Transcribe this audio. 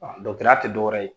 Dɔkɔtɔya tɛ dɔwɛrɛ ye